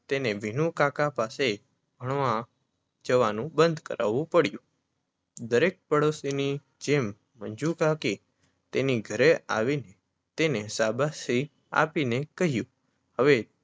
તેને વિનુકાકા પાસે ભણવા જવાનું બંધ કરવું પડ્યું. દરેક પાડોશીની જેમ મંજુકાકી તેની ઘરે આવીને તેને સાબાશી આપી ને કહ્યું હવે